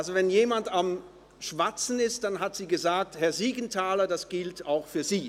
Also: Wenn jemand am Schwatzen war, sagte sie beispielsweise: «Herr Siegenthaler, das gilt auch für Sie!